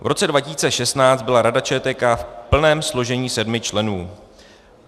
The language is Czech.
V roce 2016 byla Rada ČTK v plném složení sedmi členů.